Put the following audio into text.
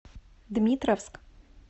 дмитровск